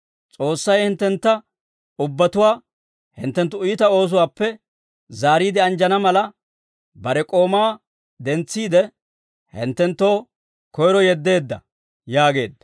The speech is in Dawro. S'oossay hinttentta ubbatuwaa hinttenttu iita oosuwaappe zaariide anjjana mala, bare K'oomaa dentsiide, hinttenttoo koyro yeddeedda» yaageedda.